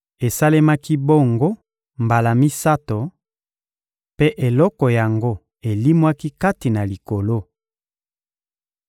Esalemaki bongo mbala misato, mpe eloko yango elimwaki kati na Likolo.